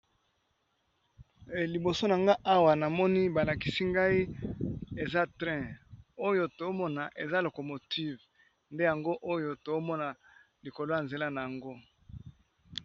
Liboso nanga awa namoni balakisi ngai eza train oyo tozo mona eza locomotive nde yango oyo tozomona likolo ya nzela nayango